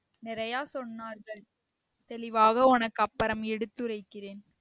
நெறைய சொன்னார்கள் தெளிவாக உனக்கு அப்பறம் எடுத்துறைக்கிறேன்